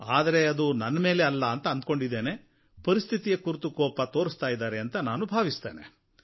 ಆದರೆ ಅದು ನನ್ನ ಮೇಲೆ ಅಲ್ಲ ಪರಿಸ್ಥಿತಿಯ ಕುರಿತು ಕೋಪ ತೋರಿಸ್ತಾ ಇದ್ದಾರೆ ಅಂತ ನಾನು ಅಂದುಕೊಂಡಿದ್ದೇನೆ